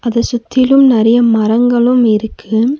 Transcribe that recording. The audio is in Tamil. இத சுத்தியிலும் நெறைய மரங்களும் இருக்கு.